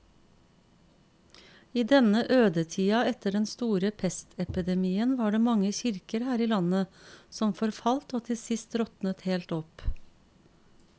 I denne ødetida etter den store pestepidemien var det mange kirker her i landet som forfalt og til sist råtnet helt opp.